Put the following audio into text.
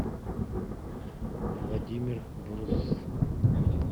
владимир брус